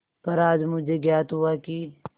पर आज मुझे ज्ञात हुआ कि